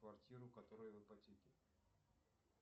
квартиру которая в ипотеке